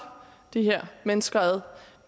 de her mennesker ad